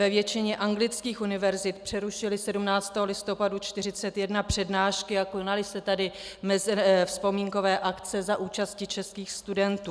Ve většině anglických univerzit přerušili 17. listopadu 1941 přednášky a konaly se tam vzpomínkové akce za účasti českých studentů.